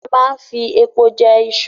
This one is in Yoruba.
A máa ń fi epo jẹ iṣu